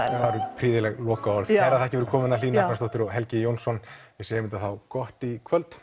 eru prýðileg lokaorð kærar þakkir fyrir komuna Hlín og Helgi við segjum þetta þá gott í kvöld